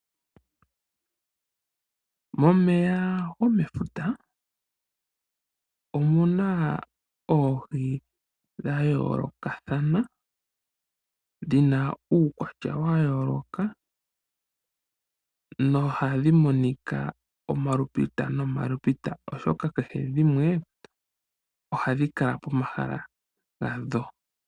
Momeya gomefuta omu na oohi dha yoolokathana , dhi na uukwatya wa yooloka nohadhi monika omalupita oshoka kehe dhimwe ohadhi kala pomahala gadho.